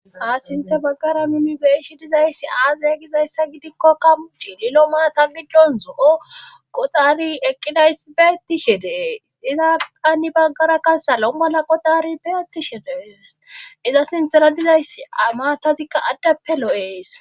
Ha sinthe baggara nuuni be7ishin dizayssi aaze gizayssa gidikkokka chiililo maata giddon zo7o qoxari eqqidays beettishe dees izaka heni baggara kasalo mala qoxari beetishe de7ees iza sintera dizayssi a matazikka addeppe lo7ees.